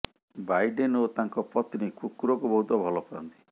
Biden ଓ ତାଙ୍କ ପତ୍ନୀ କୁକୁରଙ୍କୁ ବହୁତ ଭଲ ପାଆନ୍ତି